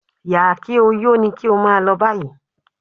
Yà-kí-ó-yó ni kí ó máa lọ báyìí